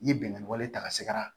I ye bɛnkan wale ta a sɛgɛrɛ